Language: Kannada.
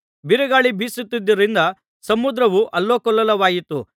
ಬಿರುಗಾಳಿ ಬೀಸುತ್ತಿದ್ದುದರಿಂದ ಸಮುದ್ರವು ಅಲ್ಲೋಲಕಲ್ಲೋಲವಾಯಿತು